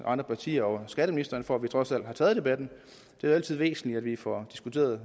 partier og skatteministeren for at vi trods alt har taget debatten det er altid væsentligt at vi får